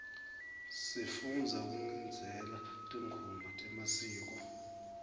sifundza kugidzela tingoma temasiko